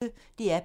DR P1